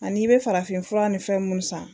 A n'i bɛ farafinfura ni fɛn minnu san